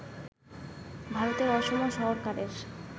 ভারতের অসম সরকারের